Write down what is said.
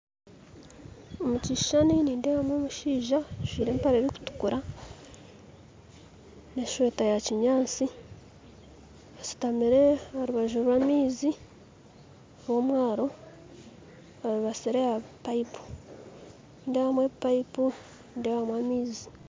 Abazaani bari omu kishaayi nibazaana omupiira, abazaani n'abakazi bajwire, tishati zirikwiragura ziinemu oburanga burikwera nana empare nguufu zirikutukura hamwe nana sokusi zirikutura ziine oburanga burikwera